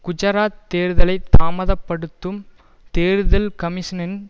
குஜராத் தேர்தலை தாமத படுத்தும் தேர்தல் கமிஷனின்